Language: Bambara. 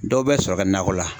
Dɔw bɛ sɔrɔ kɛ nakɔ la.